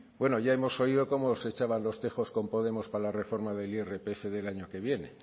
bueno ya hemos oído cómo se echaban los tejos con podemos para la reforma del irpf del año que viene